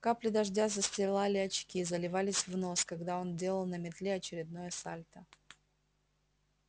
капли дождя застилали очки заливались в нос когда он делал на метле очередное сальто